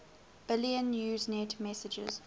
billion usenet messages